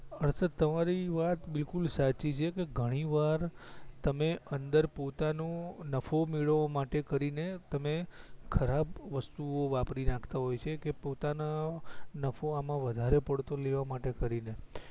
હર્ષદ તમારી વાત બિલકુલ સાચી છે કે ઘણી વાર તમે અંદર પોતાનું નફો મેળવવા માટે કરી ને તમે ખરાબ વસ્તુ વાપરી નાખતા હોય છે કે પોતાના નફો આમાં વધારે પડતો લેવા માટે કરી ને